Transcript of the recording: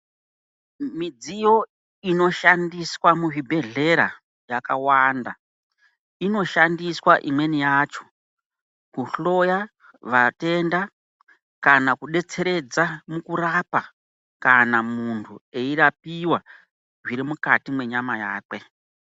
Midziyo inoshandiswa muzvibhedhlera yakawanda. Inoshandiswa imweni yacho, kuhloya vatenda kana kudetseredza mukurapa, kana muntu eyirapiwa zvirimukati menyama yakwe.